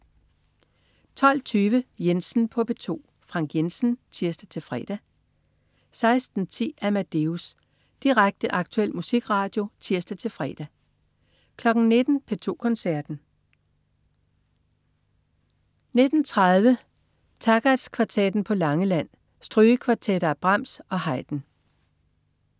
12.20 Jensen på P2. Frank Jensen (tirs-fre) 16.10 Amadeus. Direkte, aktuel musikradio (tirs-fre) 19.00 P2 Koncerten. 19.30 Takacs Kvartetten på Langeland. Strygekvartetter af Brahms og Haydn